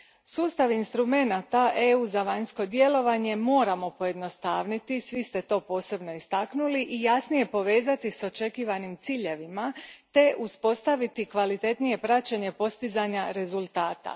Sustav instrumenata EU a za vanjsko djelovanje moramo pojednostavniti, svi ste to posebno istaknuli, i jasnije povezati s očekivanim ciljevima te uspostaviti kvalitetnije praćenje postizanja rezultata.